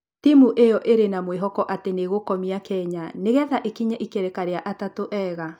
Timũ ĩyo ĩrĩ na mwĩhoko atĩ nĩ ĩgũkomia kenya nĩgetha ĩkinye ikereka rĩa atatũ ega